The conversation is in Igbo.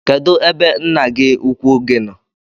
Kedụ ebe nna gi ukwu gi nọ?